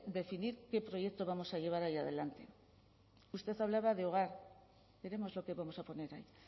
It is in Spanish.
decidir qué proyecto vamos a llevar adelante usted hablaba de hogar veremos lo que vamos a poner ahí